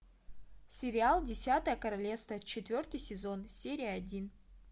сериал десятое королевство четвертый сезон серия один